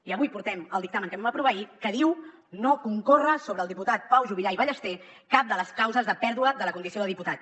i avui portem el dictamen que vam aprovar ahir que diu no concorre sobre el diputat pau juvillà i ballester cap de les causes de pèrdua de la condició de diputat